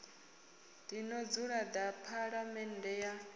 ḽino dzulo ḽa phaḽamennde ya